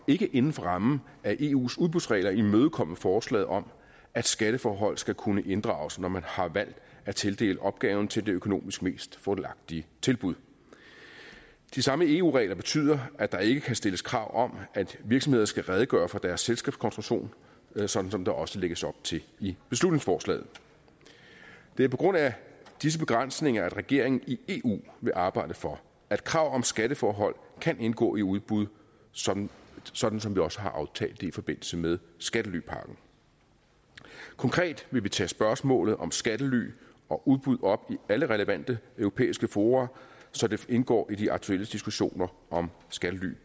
ikke inden for rammen af eus udbudsregler imødekomme forslaget om at skatteforhold skal kunne inddrages når man har valgt at tildele opgaven til det økonomisk mest fordelagtige tilbud de samme eu regler betyder at der ikke kan stilles krav om at virksomheder skal redegøre for deres selskabskonstruktion sådan som der også lægges op til i beslutningsforslaget det er på grund af disse begrænsninger at regeringen i eu vil arbejde for at krav om skatteforhold kan indgå i udbud sådan sådan som vi også har aftalt det i forbindelse med skattelypakken konkret vil vi tage spørgsmålet om skattely og udbud op i alle relevante europæiske fora så det indgår i de aktuelle diskussioner om skattely